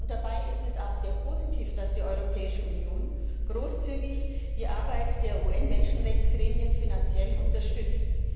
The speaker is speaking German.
Dabei ist es auch sehr positiv, dass die Europäische Union die Arbeit der UN Menschenrechtsgremien finanziell großzügig unterstützt.